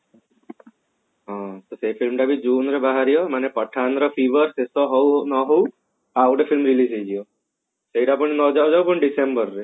ହଁ ସେ film ଟା ବି June ରେ ବାହାରିବ ମାନେ pathan ର fever ଶେଷ ହଉ ନ ହଉ ଆଉ ଗୋଟେ film release ହେଇଯିବ ସେଟା ପୁଣି ନ ଯାଉ ଯାଉ ପୁଣି December ରେ